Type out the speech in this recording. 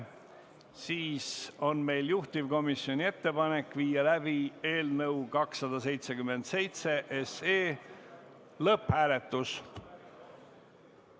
Sellisel juhul on meil juhtivkomisjoni ettepanek viia läbi eelnõu 277 lõpphääletus.